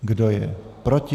Kdo je proti?